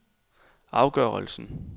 afgørelse